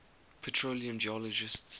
petroleum geologists study